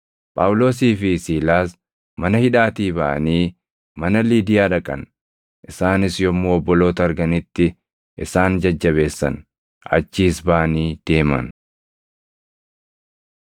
Phaawulosii fi Siilaas mana hidhaatii baʼanii mana Liidiyaa dhaqan; isaanis yommuu obboloota arganitti isaan jajjabeessan; achiis baʼanii deeman.